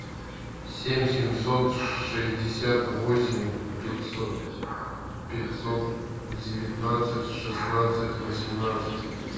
семь семьсот шестьдесят восемь пятьсот девятнадцать шестнадцать восемнадцать